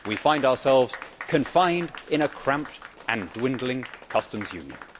We find ourselves confined in a cramped and dwindling customs union.